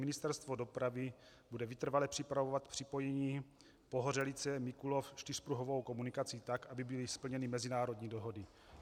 Ministerstvo dopravy bude vytrvale připravovat propojení Pohořelice-Mikulov čtyřpruhovou komunikací tak, aby byly splněny mezinárodní dohody.